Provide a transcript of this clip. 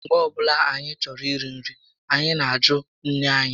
Mgbe ọbụla anyị chọrọ iri nri, anyị nà ajụ nné anyị